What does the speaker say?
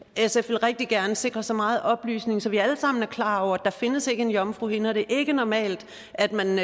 sf rigtig gerne vil sikre så meget oplysning så vi alle sammen er klar over at der ikke findes en jomfruhinde og at det ikke er normalt at man